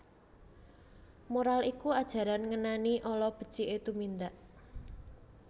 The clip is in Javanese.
Moral iku ajaran ngenani ala beciké tumindak